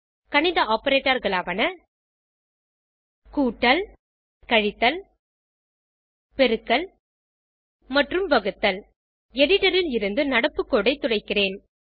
கணித operatorகளாவன கூட்டல் கழித்தல் பெருக்கல் மற்றும் வகுத்தல் எடிட்டர் ல் இருந்து நடப்பு கோடு ஐ துடைக்கிறேன்